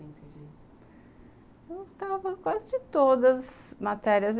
Eu gostava de quase todas matérias.